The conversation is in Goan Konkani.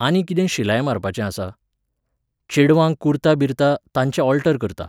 आनी कितें शिलाय मारपाचें आसा? चेडवांक कुर्ता बिर्ता, तांचे ऑल्टर करतां.